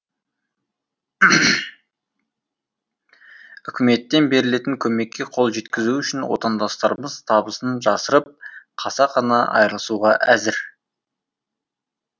үкіметтен берілетін көмекке қол жеткізу үшін отандастарымыз табысын жасырып қасақана айырылысуға әзір